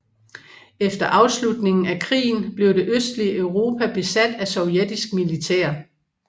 Efter afslutningen af krigen blev det østlige Europa besat af sovjetisk militær